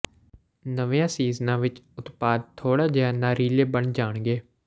ਨਵੀਆਂ ਸੀਜ਼ਨਾਂ ਵਿਚ ਉਤਪਾਦ ਥੋੜ੍ਹਾ ਜਿਹਾ ਨਾਰੀਲੇ ਬਣ ਜਾਣਗੇ